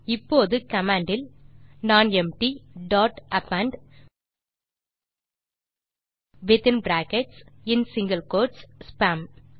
இப்போது கமாண்ட் இல் nonempty dot append within brackets மற்றும் சிங்கில் கோட்ஸ் ஸ்பாம்